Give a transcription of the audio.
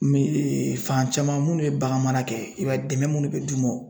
Me fan caman minnu ye bagan mara kɛ, i b'a ye dɛmɛ minnu bɛ d'u ma.